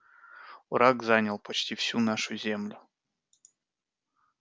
враг занял почти всю нашу землю